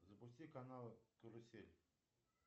запусти канал карусель